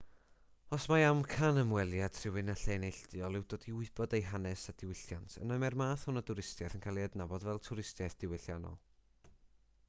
os mai amcan ymweliad rhywun â lle neilltuol yw dod i wybod ei hanes a diwylliant yna mae'r math hwn o dwristiaeth yn cael ei adnabod fel twristiaeth ddiwylliannol